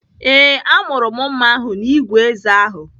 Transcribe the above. Ee, amụrụ mma ahụ n'igwe ézé ahụ.